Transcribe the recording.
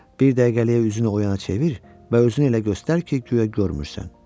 Bir dəqiqəlik üzünü o yana çevir və özünü elə göstər ki, guya görmürsən.